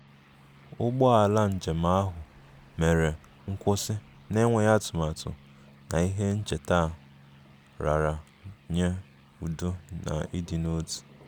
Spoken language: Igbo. Ụgbọ ala njem ahụ mere nkwụsị na-enweghị atụmatụ na ihe ncheta a raara nye udo na ịdị n'otu